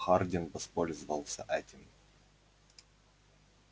хардин воспользовался этим